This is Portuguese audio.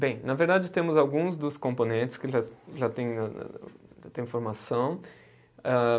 Bem, na verdade temos alguns dos componentes que já já tem, já tem formação. Âh